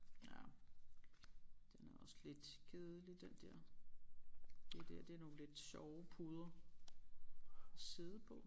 Ja den er også lidt kedelig den der det der det er nogle lidt sjove puder at sidde på